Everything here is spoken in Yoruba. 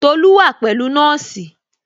Tolu wa pẹ̀lú nọ́ọ̀sì